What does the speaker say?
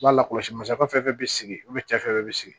U b'a lakɔlɔsi masakɛ fɛn fɛn bɛ sigi u bɛ cɛ fɛn fɛn bɛ sigi